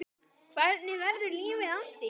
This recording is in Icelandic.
Hvernig verður lífið án þín?